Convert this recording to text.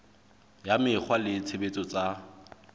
ya mekgwa le tshebetso tsa